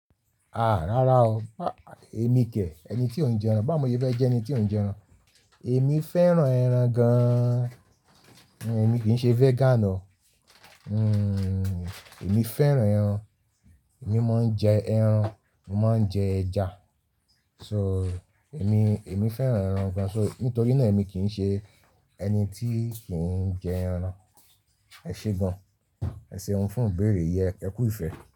Ah! Rárá o, ẹmi kẹ̀, emi tí ò ń jẹun. Bá mo ṣe fẹ́ jẹ́ ẹni tí ò ń jẹ ẹran. Ẹmi fẹ́ràn ẹran gán. Èmi kì ń ṣe vegan o. Hmm, èmi fẹ́ràn ẹran. Èmi mọ ń jẹ ẹran, mòó mọ ń jẹ ẹja. So, ẹmi, ẹmi fẹ́ràn ẹran gan. So, nítorí náà èmi kì ń ṣe ẹni tí kì ń jẹ ẹran. Ẹ ṣe gan. Ẹ ṣe hun fún ìbéèrè yẹn. Ẹ kú ìfẹ́.